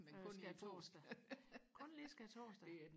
øh skærtorsdag kun lige skærtorsdag